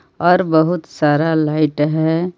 और बहुत सारा लाइट है।